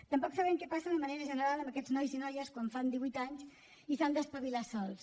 tampoc sabem què passa de manera general amb aquests nois i noies quan fan divuit anys i s’han d’espavilar sols